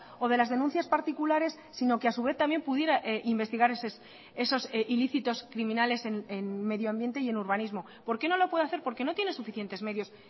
o de las denuncias particulares sino que a su vez también pudiera investigar esos ilícitos criminales en medio ambiente y en urbanismo por qué no lo puede hacer porque no tiene suficientes medios